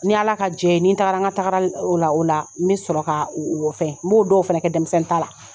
N'i Ala ka diyɛ ye ni n tagara n ka tagaral o la o la n be sɔrɔ ka o o o fɛn. N b'o dɔw fɛnɛ kɛ dɛmisɛnni ta la.